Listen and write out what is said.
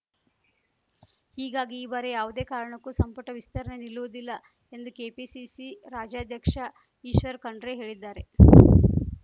ಹೀಗಾಗಿ ಈ ಬಾರಿ ಯಾವುದೇ ಕಾರಣಕ್ಕೂ ಸಂಪುಟ ವಿಸ್ತರಣೆ ನಿಲ್ಲುವುದಿಲ್ಲ ಎಂದು ಕೆಪಿಸಿಸಿ ರಾಜ್ಯಾಧ್ಯಕ್ಷ ಈಶ್ವರ್‌ ಖಂಡ್ರೆ ಹೇಳಿದ್ದಾರೆ